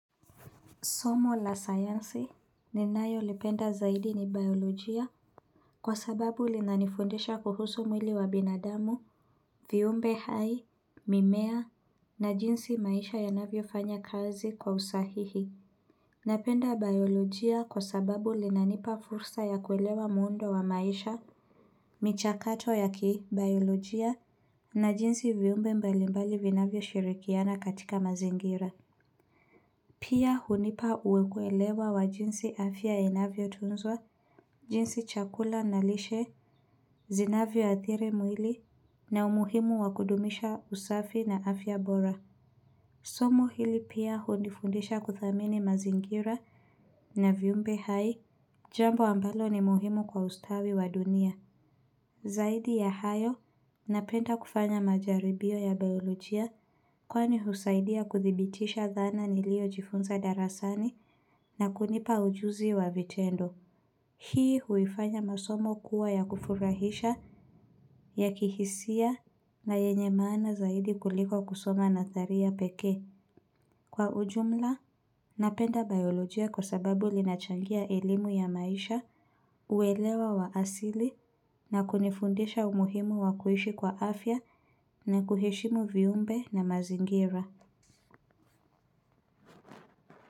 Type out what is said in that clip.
Somo la sayansi ni nayo lipenda zaidi ni biyolojia Kwa sababu linanifundisha kuhusu mwili wa binadamu viumbe hai mimea na jinsi maisha yanavyo fanya kazi kwa usahihi Napenda biyolojia kwa sababu linanipa fursa ya kuelewa muundo wa maisha michakato ya ki biyolojia na jinsi viumbe mbalimbali vinavyo shirikiana katika mazingira Pia hunipa kuelewa wa jinsi afya inavyo tunzwa, jinsi chakula na lishe, zinavyo athiri mwili na umuhimu wakudumisha usafi na afya bora. Somo hili pia hunifundisha kuthamini mazingira na viumbe hai, jambo ambalo ni muhimu kwa ustawi wa dunia. Zaidi ya hayo, napenda kufanya majaribio ya biyolojia kwani husaidia kuthibitisha dhana niliyo jifunza darasani na kunipa ujuzi wa vitendo. Hii huifanya masomo kuwa ya kufurahisha, ya kihisia, na yenye maana zaidi kuliko kusoma na tharia pekee. Kwa ujumla, napenda biolojia kwa sababu linachangia elimu ya maisha uelewa wa asili na kunifundisha umuhimu wakuishi kwa afya na kuheshimu viumbe na mazingira.